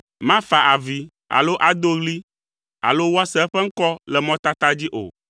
Mafa avi alo ado ɣli alo woase eƒe ŋkɔ le mɔtata dzi o.